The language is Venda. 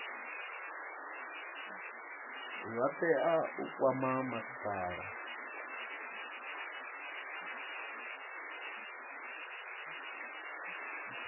vha tea u kwama masipala